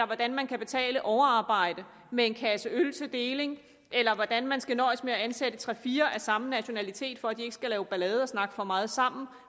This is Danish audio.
hvordan man kan betale overarbejde med en kasse øl til deling eller hvordan man skal nøjes med at ansætte tre fire af samme nationalitet for at de ikke skal lave ballade og snakke for meget sammen